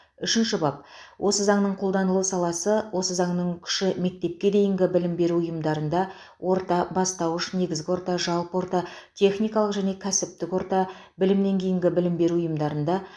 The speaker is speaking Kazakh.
үшінші бап осы заңның қолданылу саласы осы заңның күші мектепке дейінгі білім беру ұйымдарында орта бастауыш негізгі орта жалпы орта техникалық және кәсіптік орта білімнен кейінгі білім беру ұйымдарында